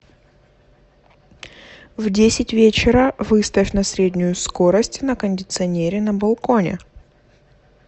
в десять вечера выставь на среднюю скорость на кондиционере на балконе